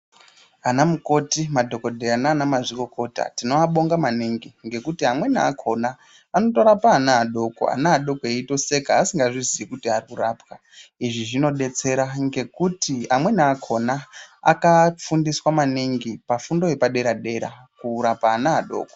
Anamukoti madhokodheya naana mazvikokota tinoabonga maningi ngekuti amweni akhona anotorapa anaadoko, anaadoko eitoseka asingazviziyi kuti ari kurapwa. Izvi zvinodetsera ngekuti amweni akhona akafundiswa maningi pafundo yepadera dera kurapa ana adoko.